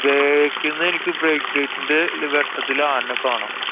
back ന്നു എനിക്ക് break ന്‍റെ വെട്ടത്തില് ആനേനെ കാണാം.